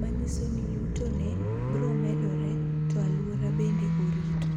manyiso ni yuto ne biro medore to anyuola bende orito.